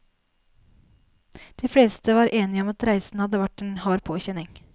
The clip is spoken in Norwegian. De fleste var enige om at reisen hadde vært en hard påkjenning.